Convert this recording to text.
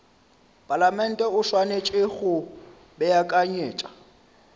palamente o swanetše go beakanyetša